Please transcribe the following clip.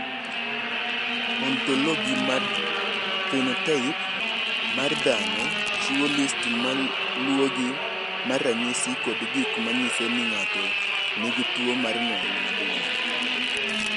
"Ontologi mar phenotaip mar dhano chiwo list ma luwogi mag ranyisi kod gik ma nyiso ni ng’ato nigi tuwo mar ng’ol maduong’."